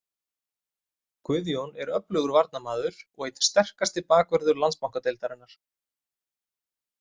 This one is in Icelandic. Guðjón er öflugur varnarmaður og einn sterkasti bakvörður Landsbankadeildarinnar.